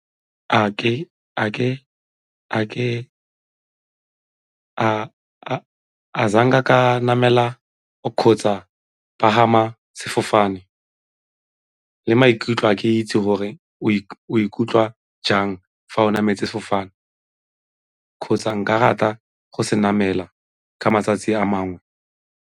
ka namela kgotsa pagama sefofane le maikutlo a ke itse gore o ikutlwa jang fa o nametse sefofane kgotsa nka rata go se namela ka matsatsi a mangwe.